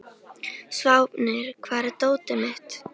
Sváfnir, hvar er dótið mitt?